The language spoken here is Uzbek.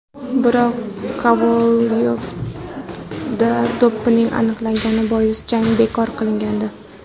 Biroq Kovalyovda doping aniqlangani bois jang bekor qilingandi .